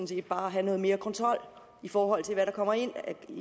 set bare at have noget mere kontrol i forhold til hvad der kommer ind